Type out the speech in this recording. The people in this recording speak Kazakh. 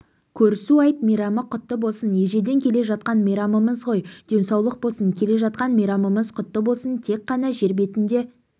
көрісу айт мейрамы құтты болсын ежелден келе жатқан мейрамымыз ғой денсаулық болсын келе жатқан мейрамымыз құтты болсын тек қана жер бетінде